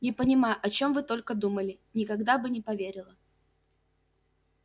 не понимаю о чем вы только думали никогда бы не поверила